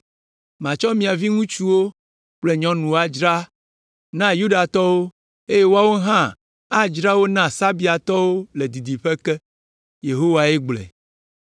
Matsɔ mia viŋutsuwo kple nyɔnuwo adzra na Yudatɔwo eye woawo hã adzra wo na Sabeatɔwo le didiƒe ke. Yehowae gblɔe.